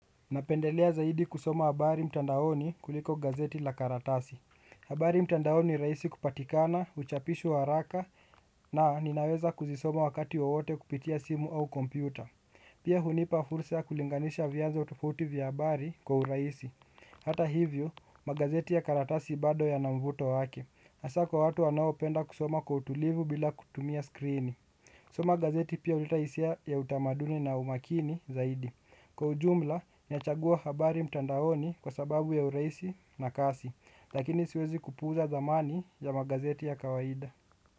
Napendelea zaidi kusoma habari mtandaoni kuliko gazeti la karatasi. Habari mtandaoni raisi kupatikana, uchapishwa haraka na ninaweza kuzisoma wakati wowote kupitia simu au kompyuta. Pia hunipa fursa kulinganisha vianzo tofuti vya habari kwa uraisi. Hata hivyo, magazeti ya karatasi bado ya namvuto wake. Asa kwa watu wanaopenda kusoma kwa utulivu bila kutumia skrini. Soma gazeti pia uleta hisia ya utamaduni na umakini zaidi. Kwa ujumla nachagua habari mtandaoni kwa sababu ya uraisi na kasi. Lakini siwezi kupuza dhamani ya magazeti ya kawaida.